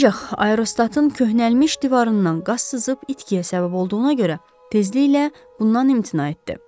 Ancaq aerostatın köhnəlmiş divarından qaz sızıb itkiyə səbəb olduğuna görə tezliklə bundan imtina etdi.